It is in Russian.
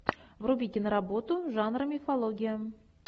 вруби киноработу жанра мифология